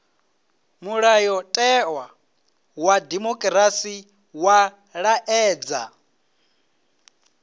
mulayotewa wa dimokirasi wa laedza